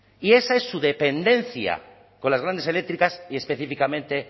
y esa es su dependencia con las grandes eléctricas y específicamente